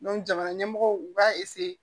jamana ɲɛmɔgɔw u b'a